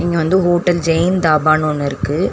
இங்க வந்து ஹோட்டல் ஜெய்ஹிந்த் தாபானு ஒன்னு இருக்கு.